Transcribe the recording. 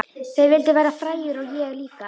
Þeir vildu verða frægir og ég líka.